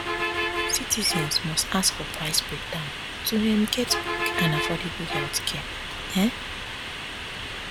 citizens must ask for price breakdown to um get quick and affordable healthcare um